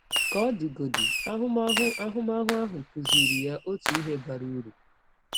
Ka ọ dịgodị, ahụmahụ ahụmahụ ahụ kụziiri ya ọtụ ihe bara ụrụ.